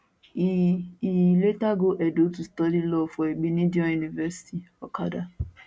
e e later go edo to study law for igbinedion university okada